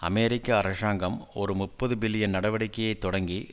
அமெரிக்க அரசாங்கம் ஒரு முப்பது பில்லியன் நடவடிக்கையை தொடங்கி